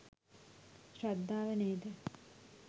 ශ්‍රද්ධාව නේද?